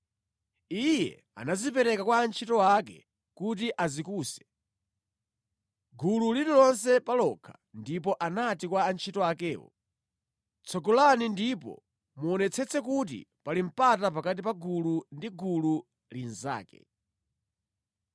Iye anazipereka kwa antchito ake kuti azikuse, gulu lililonse pa lokha, ndipo anati kwa antchito akewo, “Tsogolani ndipo muonetsetse kuti pali mpata pakati pa gulu ndi gulu linzake.”